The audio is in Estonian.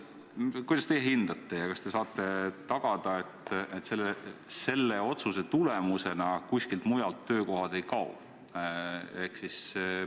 Kuidas te hindate ja kas te saate tagada, et selle otsuse tulemusena kuskilt mujalt töökohad ei kao?